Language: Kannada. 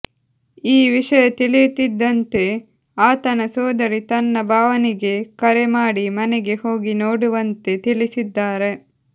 ಈ ವಿಷಯ ತಿಳಿಯುತ್ತಿದ್ದಂತೆ ಆತನ ಸೋದರಿ ತನ್ನ ಭಾವನಿಗೆ ಕರೆ ಮಾಡಿ ಮನೆಗೆ ಹೋಗಿ ನೋಡುವಂತೆ ತಿಳಿಸಿದ್ದಾರೆ